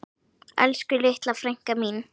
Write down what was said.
Elsku litla frænka mín.